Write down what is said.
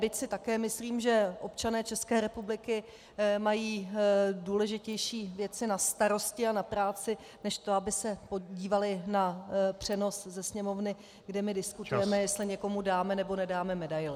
Byť si také myslím, že občané České republiky mají důležitější věci na starosti a na práci než to, aby se dívali na přenos ze Sněmovny, kde my diskutujeme , jestli někomu dáme, nebo nedáme medaili.